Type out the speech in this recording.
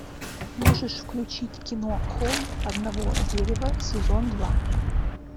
можешь включить кино холм одного дерева сезон два